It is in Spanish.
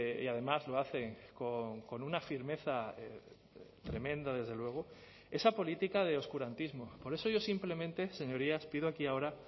y además lo hacen con una firmeza tremenda desde luego esa política de oscurantismo por eso yo simplemente señorías pido aquí y ahora